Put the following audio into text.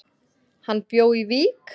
Hann bjó í Vík.